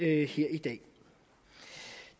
her i dag